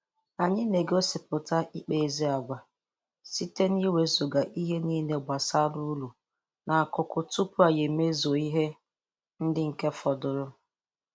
Anyị na-egosịpụta ịkpa ezi agwa, site n'iwezụga ihe n'ile gbasara uru n'akụkụ tupu anyị emezue ihe ndị nke fọdụrụ.